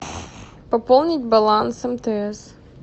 пополнить баланс мтс